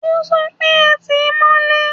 O sọ pé, Ẹ tìí mọ́lé!